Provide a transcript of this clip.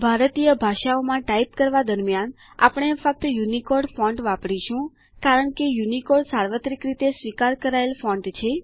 ભારતીય ભાષાઓમાં ટાઈપ કરવા દરમ્યાન આપણે ફક્ત યુનિકોડ ફોન્ટ વાપરીશું કારણ કે યુનિકોડ સાર્વત્રિક રીતે સ્વીકાર કરાયેલ ફોન્ટ છે